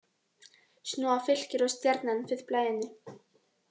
Snúa Fylkir og Stjarnan við blaðinu